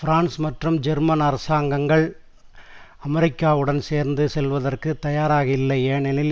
France மற்றும் German அரசாங்கங்கள் அமெரிக்காவுடன் சேர்ந்து செல்வதற்கு தயாராக இல்லை ஏனெனில்